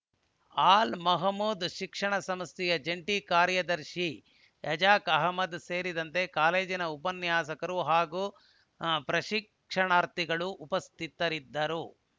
ಅಲ್‌ ಮಹಮೂದ್‌ ಶಿಕ್ಷಣ ಸಂಸ್ಥೆಯ ಜಂಟಿ ಕಾರ್ಯದರ್ಶಿ ಏಜಾಜ್‌ ಅಹ್ಮದ್‌ ಸೇರಿದಂತೆ ಕಾಲೇಜಿನ ಉಪನ್ಯಾಸಕರು ಹಾಗೂ ಪ್ರಶಿಕ್ಷಣಾರ್ಥಿಗಳು ಉಪಸ್ಥಿತರಿದ್ದರು